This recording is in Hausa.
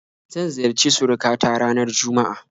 Zan ziyarci suruka ta ranar juma'a